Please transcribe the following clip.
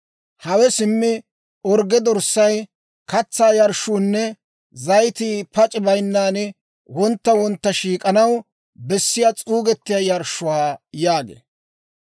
Hawe simmi orgge dorssay, katsaa yarshshuunne zayitii pac'i bayinnan wontta wontta shiik'anaw bessiyaa s'uugetiyaa yarshshuwaa» yaagee.